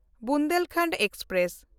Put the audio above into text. Bundelkhand express